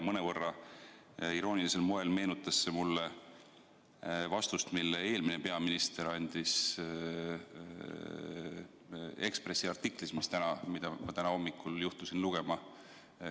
Mõnevõrra iroonilisel moel meenutas see mulle vastust, mille eelmine peaminister andis Eesti Ekspressi artiklis, mida ma täna hommikul juhtusin lugema.